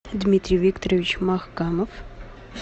дмитрий викторович махкамов